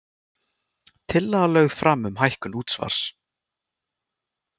Tillaga lögð fram um hækkun útsvars